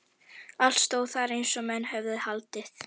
Allt stóð þar eins og menn höfðu haldið.